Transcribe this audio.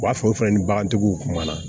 U b'a fɔ o fɛnɛ ni bagantigiw kumana